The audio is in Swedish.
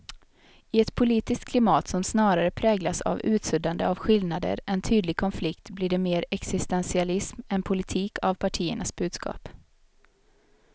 I ett politiskt klimat som snarare präglas av utsuddande av skillnader än tydlig konflikt blir det mer existentialism än politik av partiernas budskap.